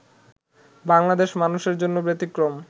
বাংলাদেশের মানুষের জন্য ব্যতিক্রম